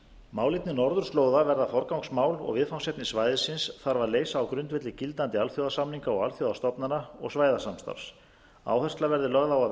málefni norðurslóða verða forgangsmál og viðfangsefni svæðisins þarf að leysa á grundvelli gildandi alþjóðasamninga og alþjóðastofnana og svæðasamstarfs áhersla veðri lögð